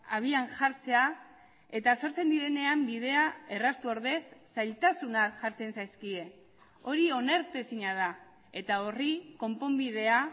abian jartzea eta sortzen direnean bidea erraztu ordez zailtasunak jartzen zaizkie hori onartezina da eta horri konponbidea